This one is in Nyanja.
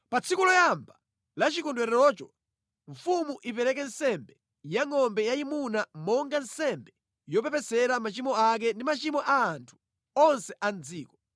Pa tsiku loyamba la chikondwererocho, mfumu ipereke nsembe ya ngʼombe yayimuna monga nsembe yopepesera machimo ake ndi machimo a anthu onse a mʼdziko.